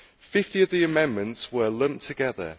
Fifty of the amendments were lumped together.